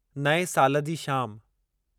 नएं साल जी शाम